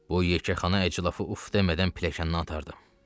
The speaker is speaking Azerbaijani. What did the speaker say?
Bu yekəxana əclafı uf demədən pilləkəndən atardım.